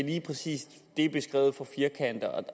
lige præcis er beskrevet for firkantet